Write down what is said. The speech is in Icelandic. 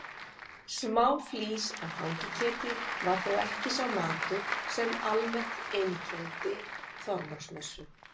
Smáflís af hangiketi var þó ekki sá matur sem almennt einkenndi Þorláksmessu.